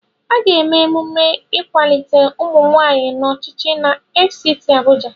Aga eme emume ịkwalite ụmụnwaanyị n'ọchịchị na FCT Abuja.